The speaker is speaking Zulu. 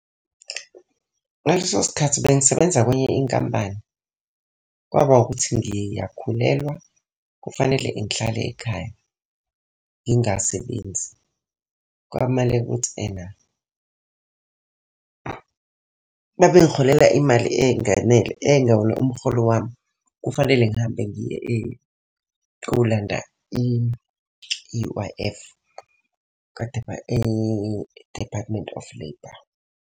Ngaleso sikhathi bengisebenza kwenye inkampani, kwaba ukuthi ngiyakhulelwa kufanele ngihlale ekhaya ngingasebenzi. Kwamale ukuthi ena, babe ngiholela imali eyayinganele eyayingewona umholo wami kufanele ngihambe ngiye kolanda i-U_I_F. e-Department of Labour.